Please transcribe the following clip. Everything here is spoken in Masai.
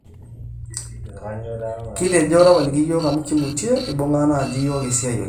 kitejo tapaliki iyiok amu kimutie, eibunga naaji iyiok esiai oleng